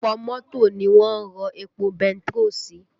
Ọ̀pọ̀ mọ́tò ni wọ́n ń rọ epo bentiroolu sí